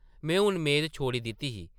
में हून मेद छोड़ी दित्ती ही ।